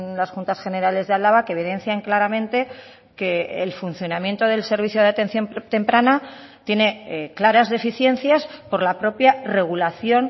las juntas generales de álava que evidencian claramente que el funcionamiento del servicio de atención temprana tiene claras deficiencias por la propia regulación